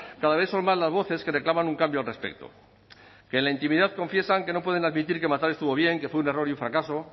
cada vez son más las voces que reclaman un cambio al respecto que en la intimidad confiesan que no pueden admitir que matar estuvo bien que fue un error y un fracaso